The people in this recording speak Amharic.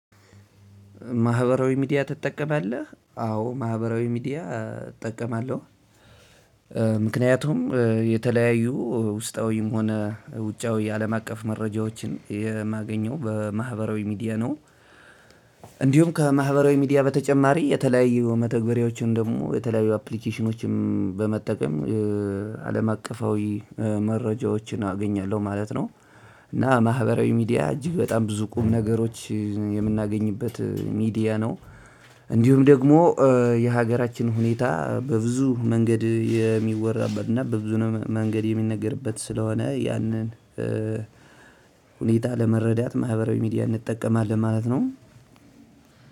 ማህበራዊ ሚዲያ ትጠቀማለህ? አዎ ማህበራዊ ሚዲያ እጠቀማለሁ። ምክንያቱም የተለያዩ ውስጣዊም ሆነ ውጫዊ የአለም አቀፍ መረጃዎችን የማገኘው በማህበራዊ ሚዲያ ነው። እንዲሁም ከማህበራዊ ሚዲያ በተጨማሪ የተለያዩ መተግበሪያዎችን ደግሞ የተለያዩ አፕሊኬሽኖችም በመጠቀም አለም አቀፋዊ መረጃዎችን አገኛለሁ ማለት ነው። እና ማህበራዊ ሚዲያ እጅግ በጣም ብዙ ቁም ነገሮች የምናገኝበት ሚዲያ ነው። እንዲሁም ደግሞ የሀገራችን ሁኔታ በብዙ መንገድ የሚወራበት እና በብዙ መንገድ የሚነገርበት ስለሆነ ያንን ሁኔታ ለመረዳት ማህበራዊ ሚዲያ እንጠቀማለን ማለት ነው።